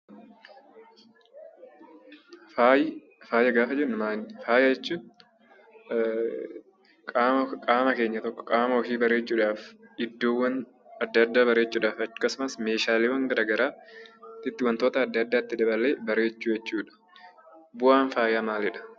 Faaya gaafa jennu maali? Faaya jechuun qaama keenya tokko, qaama ofii bareechuudhaaf iddoowwan addaa addaa bareechuudhaaf akkasumas meeshaaleewwan garaagaraatti itti daddaballee babbareechuu jechuudha. Bu'aan faayaa maalidha?